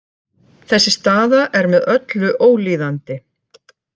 Þessi staða er með öllu ólíðandi